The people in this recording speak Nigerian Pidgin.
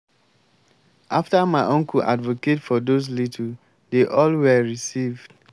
after my uncle advocate for those little dey all were received